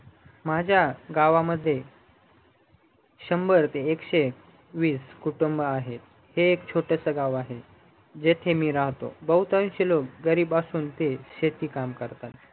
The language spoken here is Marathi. माझ्या गावामध्ये शंभर ते एकशे वीस कुटुंब आहेत हे एक छोटसं गाव आहे तिथे मी राहतो भाहुतांशे लोक गरीब असून ते शेती काम करतात